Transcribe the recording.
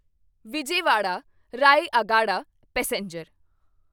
Vijayawada Rayagada passenger